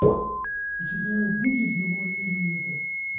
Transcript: у тебя будет завуалируй это